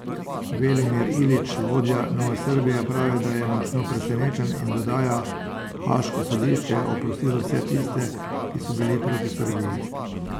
Velimir Ilić, vodja Nove Srbije, pravi, da je 'močno presenečen', in dodaja: 'Haaško sodišče je oprostilo vse tiste, ki so bili proti Srbiji.